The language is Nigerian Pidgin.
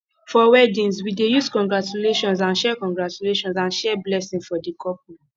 for weddings we dey use congratulations and share congratulations and share blessings for the couple